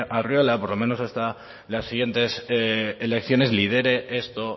arriola por lo menos hasta la siguientes elecciones lidere esto